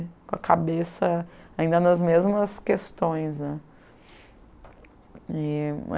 Com a cabeça ainda nas mesmas questões né. E